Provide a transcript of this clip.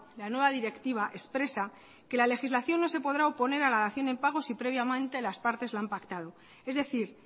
la nueva directiva expresa que la legislación no se podrá oponer a la dación en pago si previamente las partes la han pactado es decir